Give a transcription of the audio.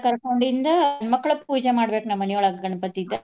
ಕರ್ಕೊಂಡಿಂದ ಗಂಡ್ ಮಕ್ಳ ಪೂಜೆ ಮಾಡ್ಬೇಕ್ ನಮ್ಮ ಮನಿಯೊಳಗ ಗಣಪತಿದ.